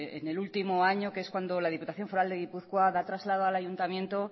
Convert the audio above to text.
en el último año que es cuando la diputación foral de gipuzkoa da traslado al ayuntamiento